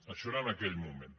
això era en aquell moment